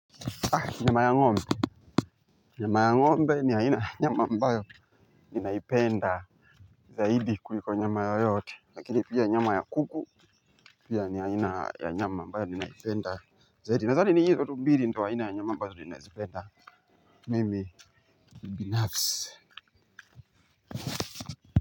Nyama ya ngombe, nyama ya ngombe ni haina nyama mbayo ninaipenda zaidi kuliko nyama yoyote, lakini pia nyama ya kuku pia ni haina ya nyama mbayo ninaipenda zaidi, nazani ni hizo tumbiri ndio haina ya nyama mbayo ninaipenda, mimi binafsi.